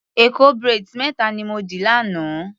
Èkó braids méta ni mo dì lánàá.